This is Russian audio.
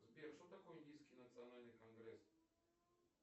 сбер что такое индийский национальный конгресс